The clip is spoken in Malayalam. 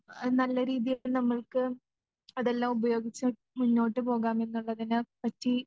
എ നല്ല രീതിയിൽ നമ്മൾക്ക് അതെല്ലാം ഉപയോഗിച്ച് മുന്നോട്ടുപോകാൻ ഉള്ളതിനെ പ്പറ്റി